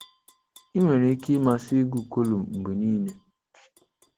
Ị nwere ike ịmasị ịgụ kọlụm mgbe niile.